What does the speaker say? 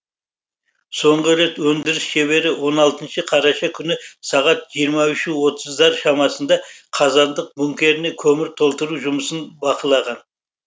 соңғы рет өндіріс шебері он алтыншы қараша күні сағат жиырма үш отызда шамасында қазандық бункеріне көмір толтыру жұмысын бақылаған